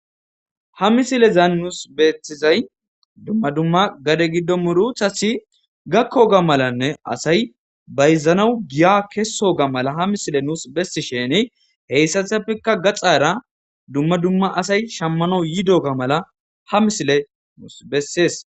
Ha misilezan nus betizay dumma dumma gade murutati gakoga mala asyi bazanaw giya kesoga mala ha misiley nusu besishin hesatapeka gaxara dumma dumma asaya shamanaw yidoga mala ha misiley nusu beses